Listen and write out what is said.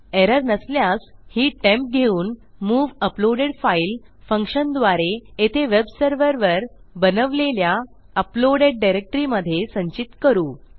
error नसल्यास ही temp घेऊन मूव अपलोडेड फाईल फंक्शनद्वारे येथे वेबसर्व्हरवर बनवलेल्या अपलोडेड डायरेक्टरी मधे संचित करू